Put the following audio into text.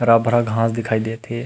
हरा-भरा घांस दिखाई देत हे।